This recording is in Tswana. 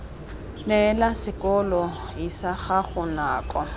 neela sekolo lsa gago nako